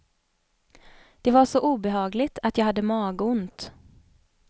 Det var så obehagligt, att jag hade magont.